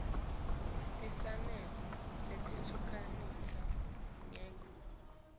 tinsita telucingo tekutisita